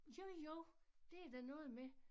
Jo jo det da noget med